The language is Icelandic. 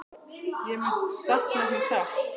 Ég mun sakna þín sárt.